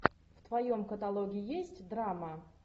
в твоем каталоге есть драма